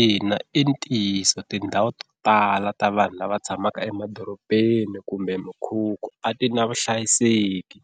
Ina i ntiyiso tindhawu to tala ta vanhu lava tshamaka emadorobeni kumbe mukhukhu a ti na vuhlayiseki,